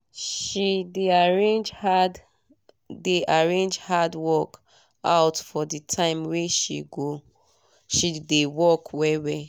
she dey arrange hard dey arrange hard work out for the time wey she dey work well well